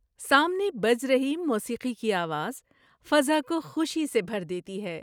سامنے بج رہی موسیقی کی آواز فضا کو خوشی سے بھر دیتی ہے۔